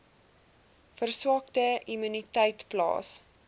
verswakte immuniteit plaas